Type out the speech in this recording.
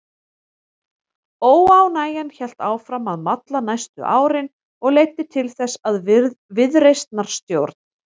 Óánægjan hélt áfram að malla næstu árin og leiddi til þess að viðreisnarstjórn